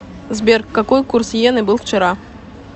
сбер какой курс йены был вчера